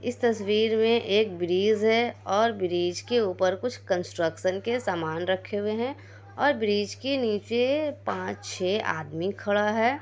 इस तस्वीर में एक ब्रिज है और ब्रिज क ऊपर कुछ कंस्ट्रक्शन के सामान रखे हुए हैं और ब्रिज क नीचे पाँ- छे आदमी खड़ा है।